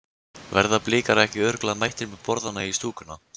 Verða Blikar ekki örugglega mættir með borðann í stúkuna?